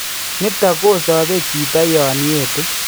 Nitok kosobe chito yon etu